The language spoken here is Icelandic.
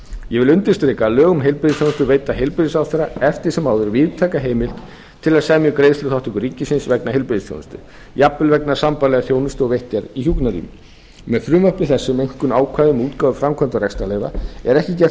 ég vil undirstrika að lög um heilbrigðisþjónustu veita heilbrigðisráðherra eftir sem áður víðtæka heimild til að semja um greiðsluþátttöku ríkisins vegna heilbrigðisþjónustu jafnvel vegna sambærilegrar þjónustu og veitt er í hjúkrunarrýmum með frumvarpi þessu um rýmkun ákvæða um útgáfu framkvæmda og rekstrarleyfa er ekki gert